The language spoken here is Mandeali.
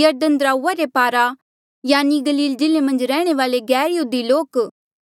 यरदन दराऊआ रे पारा यानि गलील जिल्ले मन्झ रैहणे वाले गैरयहूदी लोक